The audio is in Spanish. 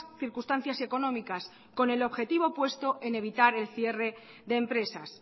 circunstancias económicas con el objetivo puesto en evitar el cierre de empresas